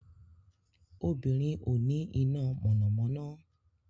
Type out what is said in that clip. Obìnrin ò ní iná mọ̀nàmọ́ná